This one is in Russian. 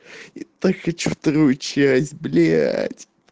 так и что вторую часть б